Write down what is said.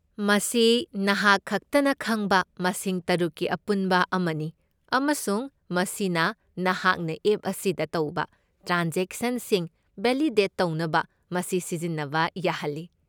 ꯃꯁꯤ ꯅꯍꯥꯛ ꯈꯛꯇꯅ ꯈꯪꯕ ꯃꯁꯤꯡ ꯇꯔꯨꯛꯀꯤ ꯑꯄꯨꯟꯕ ꯑꯃꯅꯤ, ꯑꯃꯁꯨꯡ ꯃꯁꯤꯅ ꯅꯍꯥꯛꯅ ꯑꯦꯞ ꯑꯁꯤꯗ ꯇꯧꯕ ꯇ꯭ꯔꯥꯟꯖꯦꯛꯁꯟꯁꯤꯡ ꯚꯦꯂꯤꯗꯦꯠ ꯇꯧꯅꯕ ꯃꯁꯤ ꯁꯤꯖꯤꯟꯅꯕ ꯌꯥꯍꯜꯂꯤ꯫